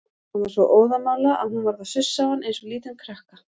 Hann var svo óðamála að hún varð að sussa á hann eins og lítinn krakka.